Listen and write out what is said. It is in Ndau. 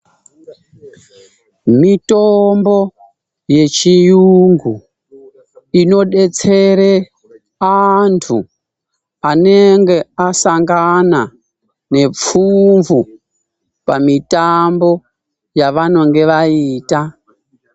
Mitombo yechirungu inodetsera antu anenge asangana nepfumvu pamitambo yavanenge vaita.